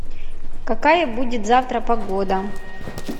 какая будет завтра погода